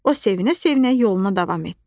O sevinə-sevinə yoluna davam etdi.